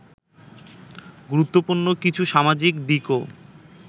গুরুত্বপূর্ণ কিছু সামাজিক দিকও